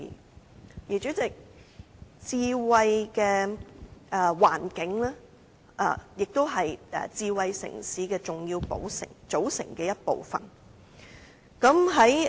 代理主席，智慧的環境是智慧城市的重要組成部分。